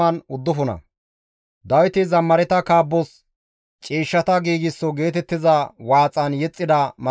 Abeet Xoossawu! Haaththa kixay taas qoodhe gakkida gishshas ne tana ashsha.